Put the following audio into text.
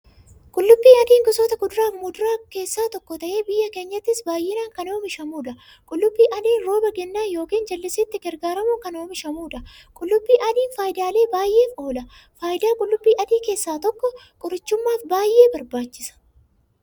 Qullubbii adiin gosoota kuduraafi muduraa keessaa tokko ta'ee, biyya keenyattis baay'inaan kan oomishamuudha. Qullubbii adiin rooba gannaa yookiin jallisiitti gargaaramuun kan oomishamuudha. Qullubbii adiin faayidaalee baay'eef oola. Faayidaa qullubbii adii keessaa tokko, qorichumaaf baay'ee barbaachisa.